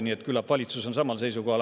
Nii et küllap valitsus on samal seisukohal.